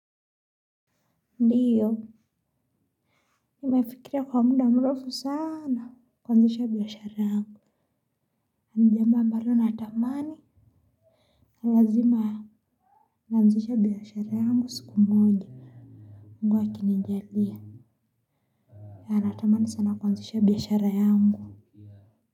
Ndiyo, nimefikiria kwa muda mrefu sana kuanzisha biashara yangu. Ni jambo ambalo natamani, lazima, nianzishe biashara yangu siku moja moji. Mungu akinijalia, natamani sana kuanzisha biashara yangu.